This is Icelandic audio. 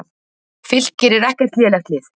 Fylkir er ekkert lélegt lið.